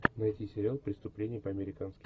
найти сериал преступление по американски